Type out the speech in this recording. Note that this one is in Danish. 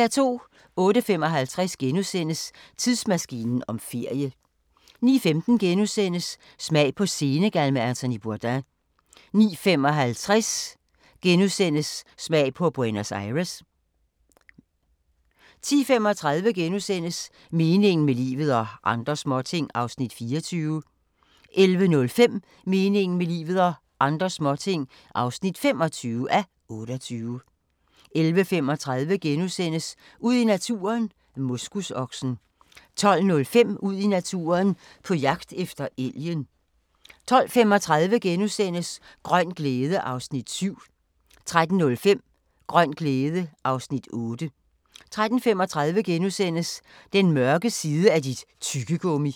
08:55: Tidsmaskinen om ferie * 09:15: Smag på Senegal med Anthony Bourdain * 09:55: Smag på Buenos Aires * 10:35: Meningen med livet – og andre småting (24:28)* 11:05: Meningen med livet – og andre småting (25:28) 11:35: Ud i naturen: Moskusoksen * 12:05: Ud i naturen: På jagt efter elgen 12:35: Grøn glæde (Afs. 7)* 13:05: Grøn glæde (Afs. 8) 13:35: Den mørke side af dit tyggegummi! *